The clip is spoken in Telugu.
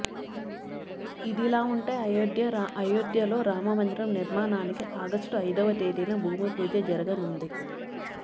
ఇదిలావుంటే అయోధ్యలో రామమందిరం నిర్మాణానికి ఆగస్టు ఐదవ తేదీన భూమిపూజ జరగనుంది